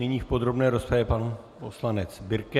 Nyní v podrobné rozpravě pan poslanec Birke.